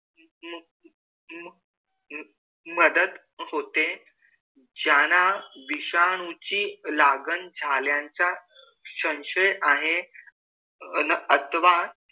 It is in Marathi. मदत होते. ज्यांना विषाणूची लागण झाल्याचा संशय आहे अन अथवा,